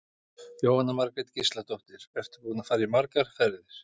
Jóhanna Margrét Gísladóttir: Ertu búinn að fara margar ferðir?